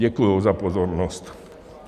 Děkuji za pozornost.